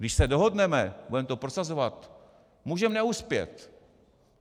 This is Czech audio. Když se dohodneme, budeme to prosazovat, můžeme neuspět.